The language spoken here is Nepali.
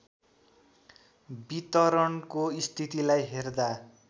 वितरणको स्थितिलाई हेर्दा